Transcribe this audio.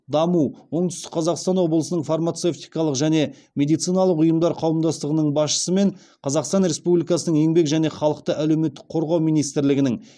даму оңтүстік қазақстан облысының фармацевтикалық және медициналық ұйымдар қауымдастығының басшысы мен қаақстан республикасының еңбек және халықты әлеуметтік қорғау министрлігінің